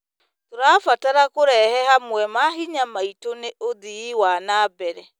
Tũrabatara kũrehe hamwe mahinya maitũ nĩ ũthii wa na mbere.